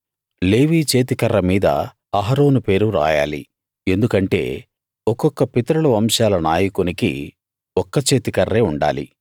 లేవీ చేతికర్ర మీద అహరోను పేరు రాయాలి ఎందుకంటే ఒక్కొక్క పితరుల వంశాల నాయకునికి ఒక్క చేతికర్రే ఉండాలి